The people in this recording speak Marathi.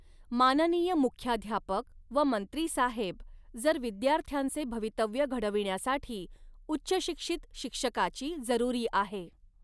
माननीय मुख्याध्यापक व मंत्री साहेब, जर विद्यार्थांचे भवितव्य घडविण्यासाठी उच्चशिक्षित शिक्षकाची जरुरी आहे.